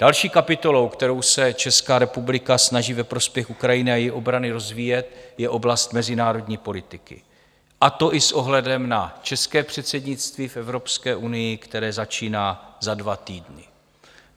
Další kapitolou, kterou se Česká republika snaží ve prospěch Ukrajiny a její obrany rozvíjet, je oblast mezinárodní politiky, a to i s ohledem na české předsednictví v Evropské unii, které začíná za dva týdny.